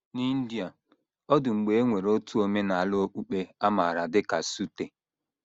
N’India, ọ dị mgbe e nwere otu omenala okpukpe a maara dị ka suttee.